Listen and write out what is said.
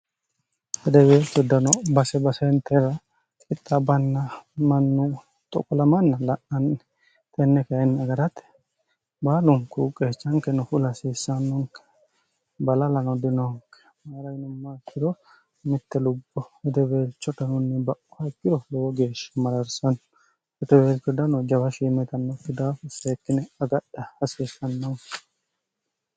rideweeltu dno basebasentera qixa banna mannu 1qlmnn la'anni tenneke hyinni agarate baalunku qeechanke noful hasiissannonke balalano dinoonke marayinumma kiro mitte lubbo hideweelcho tnunni ba'hakiro lowo geeshshi malarsanno riteweeltuddno jawa shimetnnoffi daafu seekkine agadha hasiissannon